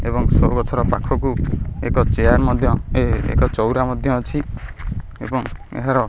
ଏବଂ ସବୁ ଗଛ ର ପାଖକୁ ଏକ ଚେୟାର୍ ମଧ୍ୟ ଏଁ ଏକ ଚଉରା ମଧ୍ୟ ଅଛି ଏବଂ ଏହାର --